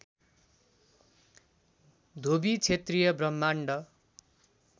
धोबी क्षेत्रीय ब्राह्मण